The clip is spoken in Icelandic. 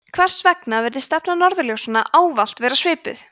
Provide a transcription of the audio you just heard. hvers vegna virðist stefna norðurljósa ávallt vera svipuð